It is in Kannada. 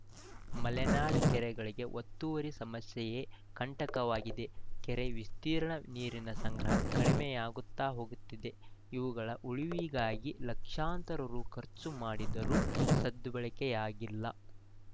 ಮಲೆನಾಡ ಕೆರೆಗಳಿಗೆ ಒತ್ತುವರಿ ಸಮಸ್ಯೆಯೇ ಕಂಟಕವಾಗಿದೆ ಕೆರೆಯ ವಿಸ್ತೀರ್ಣ ನೀರಿನ ಸಂಗ್ರಹ ಕಡಿಮೆಯಾಗುತ್ತಾ ಹೋಗುತ್ತಿದೆ ಇವುಗಳ ಉಳಿವಿಗಾಗಿ ಲಕ್ಷಾಂತರ ರು ಖರ್ಚು ಮಾಡಿದರೂ ಸದ್ಬಳಕೆಯಾಗಿಲ್ಲ